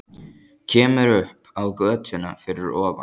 Kemur upp á götuna fyrir ofan.